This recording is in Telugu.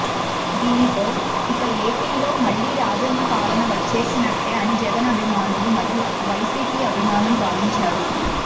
దీనితో ఇక ఏపీలో మళ్ళీ రాజన్న పాలన వచ్చేసినట్టే అని జగన్ అభిమానులు మరియు వైసీపీ అభిమానులు భావించారు